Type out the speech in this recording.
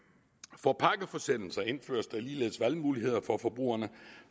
for pakkeforsendelser indføres der ligeledes valgmuligheder for forbrugerne